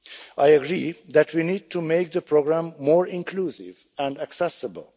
I agree that we need to make the programme more inclusive and accessible.